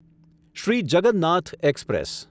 Shri Jagannath express